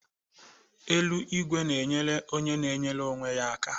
Ele ìgwè n'enyere onye n'enyere onwe ya aka